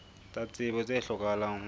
tsa tsebo tse hlokahalang ho